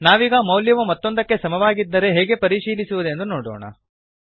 ನಾವೀಗ ಮೌಲ್ಯವು ಮತ್ತೊಂದಕ್ಕೆ ಸಮವಾಗಿದ್ದರೆ ಹೇಗೆ ಪರಿಶೀಲಿಸುವುದೆಂದು ನೋಡೋಣ